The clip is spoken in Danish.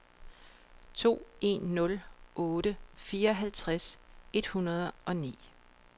to en nul otte fireoghalvtreds et hundrede og ni